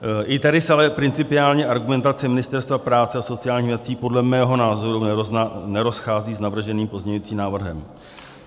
I tady se ale principiálně argumentace Ministerstva práce a sociálních věcí podle mého názoru nerozchází s navrženým pozměňovacím návrhem.